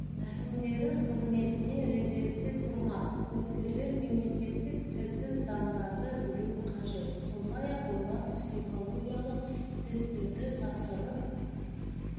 әкімдері қызметіне резервте тұрмақ үміткерлер мемлекеттік тілді заңдарды білу қажет сондай-ақ олар психологиялық тестерді тапсырып